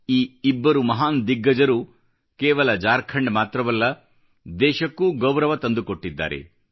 ಈ ಇಬ್ಬರು ಮಹಾನ್ ದಿಗ್ಗಜರು ಕೇವಲ ಜಾರ್ಖಂಡ್ ಮಾತ್ರವಲ್ಲ ದೇಶಕ್ಕೂ ಗೌರವ ತಂದುಕೊಟ್ಟಿದ್ದಾರೆ